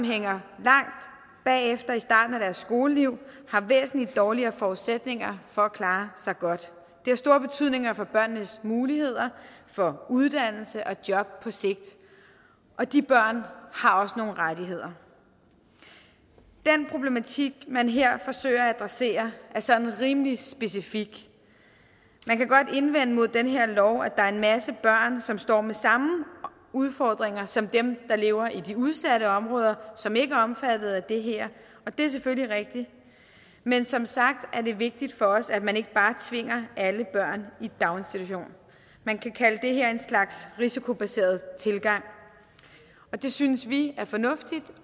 hænger langt bagefter i starten af deres skoleliv har væsentlig dårligere forudsætninger for at klare sig godt det har stor betydning for børnenes muligheder for uddannelse og job på sigt og de børn har også nogle rettigheder den problematik man her forsøger at adressere er sådan rimelig specifik man kan godt indvende mod den her lov at der er en masse børn som står med samme udfordringer som dem der lever i de udsatte områder og som ikke er omfattet af det her og det er selvfølgelig rigtigt men som sagt er det vigtigt for os at man ikke bare tvinger alle børn i daginstitution man kan kalde det her en slags risikobaseret tilgang det synes vi er fornuftigt